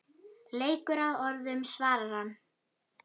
Leikur að orðum svarar hann.